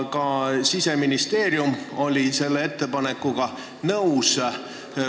Ka Siseministeerium oli selle ettepanekuga nõus.